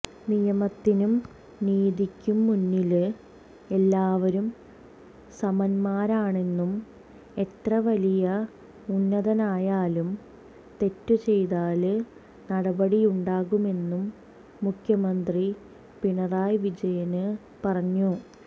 നിയമത്തിനും നീതിക്കും മുന്നില് എല്ലാവരും സമന്മാരാണെന്നും എത്ര വലിയ ഉന്നതനായാലും തെറ്റു ചെയ്താല് നടപടിയുണ്ടാകുമെന്നും മുഖ്യമന്ത്രി പിണറായി വിജയന് പറഞ്ഞു